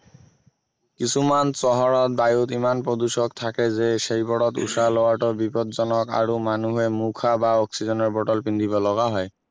কিছুমান চহৰত বায়ুত ইমান প্ৰদূষক থাকে যে সেইবোৰত উশাহ লোৱাটো বিপদজনক আৰু মানুহে মুখা বা অক্সিজেনৰ বটল পিন্ধিব লগা হয়